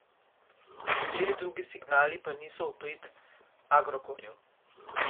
Nekateri drugi signali pa niso v prid Agrokorju.